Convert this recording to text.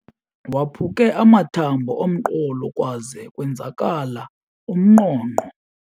Waphuke amathambo omqolo kwaze kwenzakala umnqonqo.